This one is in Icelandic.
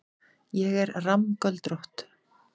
Ég er rammgöldrótt.